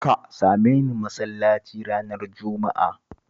Ka same ni masallaci ranar Juma'a